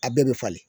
A bɛɛ bɛ falen